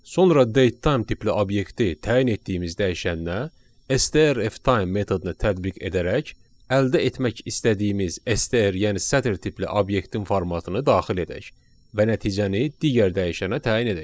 Sonra datetime tipli obyekti təyin etdiyimiz dəyişənə STRFtime metodunu tətbiq edərək əldə etmək istədiyimiz STR, yəni sətr tipli obyektin formatını daxil edək və nəticəni digər dəyişənə təyin edək.